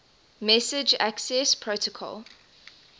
message access protocol